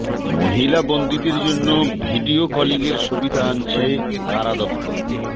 মহিলা বন্দিদের জন্য ভিডিও কলিংয়ের সুবিধা আনছে কারা দপ্তর